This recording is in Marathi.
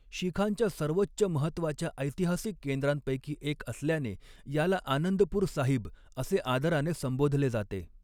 शीखांच्या सर्वोच्च महत्त्वाच्या ऐतिहासिक केंद्रांपैकी एक असल्याने याला आनंदपूर साहिब असे आदराने संबोधले जाते.